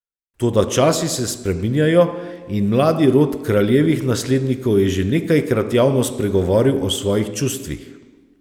Toda časi se spreminjajo in mladi rod kraljevih naslednikov je že nekajkrat javno spregovoril o svojih čustvih.